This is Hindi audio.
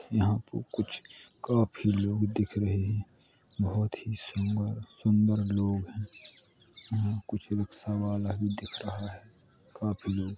यहाँ पे कुछ काफी लोग दिख रहे हैं बहुत ही सुंदर-सुंदर लोग हैं। यहाँ कुछ रिक्शा वाला भी दिख रहा है। काफी लोग --